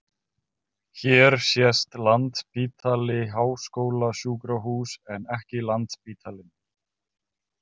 Hér sést Landspítali- háskólasjúkrahús en ekki Landsspítalinn.